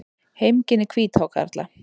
Heimkynni hvíthákarla.